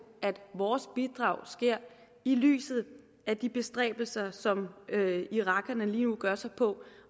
at vores bidrag sker i lyset af de bestræbelser som irakerne lige nu gør sig på